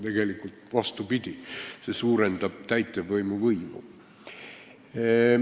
Tegelikult on vastupidi, see suurendaks täitevvõimu võimu.